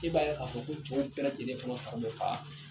E b'a a fɔ ko cɛw bɛɛ lajɛlen fana fari bɛ faa